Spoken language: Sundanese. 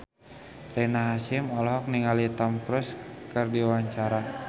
Rina Hasyim olohok ningali Tom Cruise keur diwawancara